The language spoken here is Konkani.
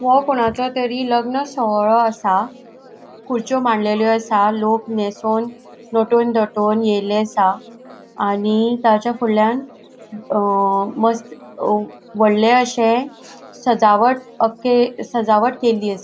हो कोणाचो तरी लग्न सोहळो खुरच्यो मंडलयलों असा. लोक नेसोन नोटोन थटोन ऐले असा. आणि ताज्या फूडल्यान अ मस्त अ वडले अशे सजावट अ के सजावट केल्ली असा.